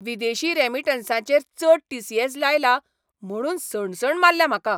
विदेशी रॅमिटन्सांचेर चड टी. सी. ऍस. लायला म्हुणून सणसण मारल्या म्हाका!